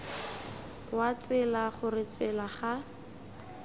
wa tsela gore tsela ga